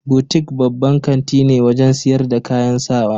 Butik babban kanti ne wajen siyar da kayan sawa.